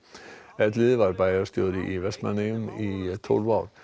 Elliði var bæjarstjóri í Vestmannaeyjum í tólf ár